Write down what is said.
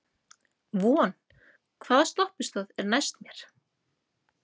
Von, hvaða stoppistöð er næst mér?